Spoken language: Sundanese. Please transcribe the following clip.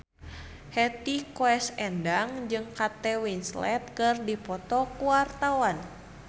Hetty Koes Endang jeung Kate Winslet keur dipoto ku wartawan